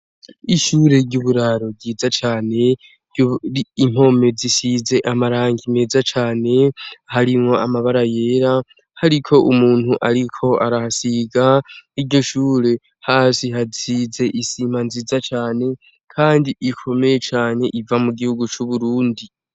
Ishure ry’uburaro ryiza cane, impome zisize amarangi meza cane harimwo amabara yera hariko umuntu ariko arasiga, iryo shure hasi hasize isima nziza cane kandi ikomeye cane iva mu gihugu c’Uburundi.